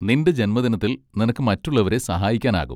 നിന്റെ ജന്മദിനത്തിൽ നിനക്ക് മറ്റുള്ളവരെ സഹായിക്കാനാകും.